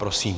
Prosím.